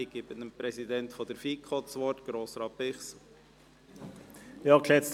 Ich erteile dem Präsidenten der FiKo, Grossrat Bichsel, das Wort.